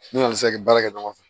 N'u n'u sera k'i baara kɛ ɲɔgɔn fɛ